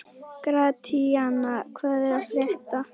Gratíana, hvað er að frétta?